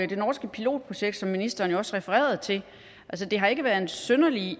det norske pilotprojekt som ministeren jo også refererede til har ikke været en synderlig